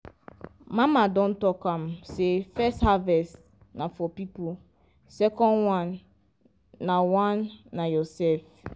mama don talk am say first harvest na for people second one na one na your self.